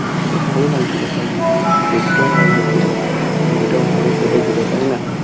বেশ ভালো লাগছিল সব মিলিয়ে দেখতেও ভালো লাগছিল তো মনটাও ভালো কেটেছিল তাই না